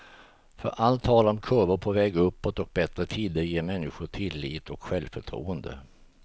För allt tal om kurvor på väg uppåt och bättre tider ger människor tillit och självförtroende.